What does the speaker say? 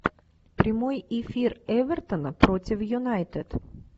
прямой эфир эвертона против юнайтед